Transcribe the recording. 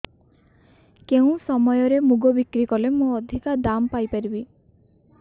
କେଉଁ ସମୟରେ ମୁଗ ବିକ୍ରି କଲେ ମୁଁ ଅଧିକ ଦାମ୍ ପାଇ ପାରିବି